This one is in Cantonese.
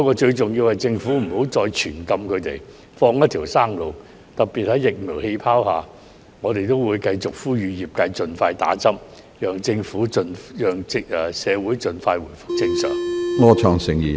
最重要的，是政府不要再對他們實施"全禁"，而應放他們一條生路，尤其是在"疫苗氣泡"下，我們也會繼續呼籲業界人士盡快接種疫苗，讓社會盡快回復正常。